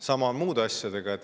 Sama on muude asjadega.